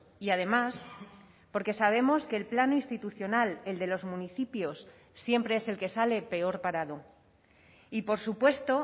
y además porque sabemos que el plan institucional el de los municipios siempre es el que sale peor parado y por supuesto